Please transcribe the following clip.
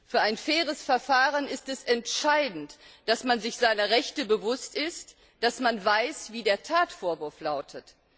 Für ein faires Verfahren ist es entscheidend, dass man sich seiner Rechte bewusst ist, dass man weiß, wie der Tatvorwurf lautet.